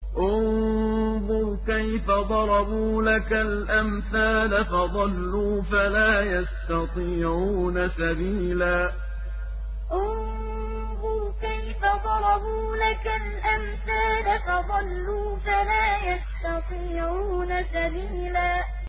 انظُرْ كَيْفَ ضَرَبُوا لَكَ الْأَمْثَالَ فَضَلُّوا فَلَا يَسْتَطِيعُونَ سَبِيلًا انظُرْ كَيْفَ ضَرَبُوا لَكَ الْأَمْثَالَ فَضَلُّوا فَلَا يَسْتَطِيعُونَ سَبِيلًا